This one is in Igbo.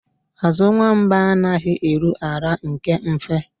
Azụ nwamba anaghị eru ala nke mfe